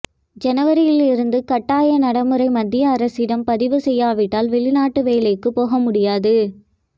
ஜனவரியில் இருந்து கட்டாய நடைமுறை மத்திய அரசிடம் பதிவு செய்யாவிட்டால் வெளிநாட்டு வேலைக்கு போக முடியாது